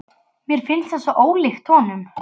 Mér fannst það svo ólíkt honum.